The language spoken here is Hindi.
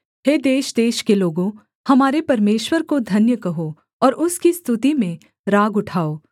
हे देशदेश के लोगों हमारे परमेश्वर को धन्य कहो और उसकी स्तुति में राग उठाओ